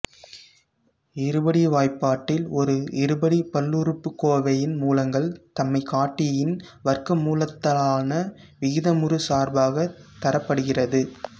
இருபடி வாய்ப்பாட்டில் ஒரு இருபடி பல்லுறுப்புக்கோவையின் மூலங்கள் தன்மைகாட்டியின் வர்க்கமூலத்தாலான விகிதமுறு சார்பாக தரப்படுகிறது